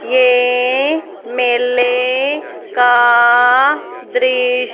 ये मेले का दृश्य--